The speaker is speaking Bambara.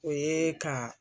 O ye ka.